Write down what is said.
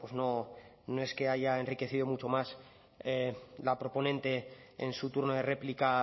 bueno pues no es que haya enriquecido mucho más la proponente en su turno de réplica